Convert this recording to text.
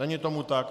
Není tomu tak.